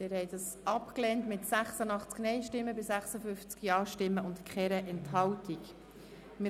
Sie haben Ziffer 1 als Postulat mit 86 Nein- gegen 56 Ja-Stimmen bei 0 Enthaltungen abgelehnt.